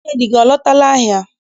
Nwunye di nne gị, ọ lọtala ahịa?